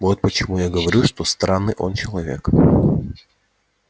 вот почему я говорю что странный он человек